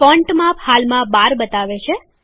font માપ હાલમાં ૧૨ બતાવે છે